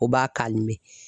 O b'a